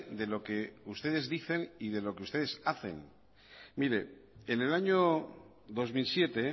de lo que ustedes dicen y de lo que ustedes hacen miren en el año dos mil siete